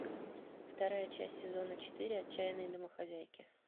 вторая часть сезона четыре отчаянные домохозяйки